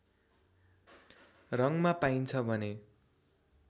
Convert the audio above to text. रङमा पाइन्छ भने